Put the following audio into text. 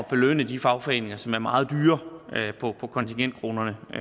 belønne de fagforeninger som er meget dyre på kontingentkronerne og